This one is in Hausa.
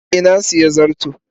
Eh, na sayi zarto.